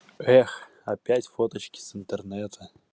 эх опять фоточки с интернета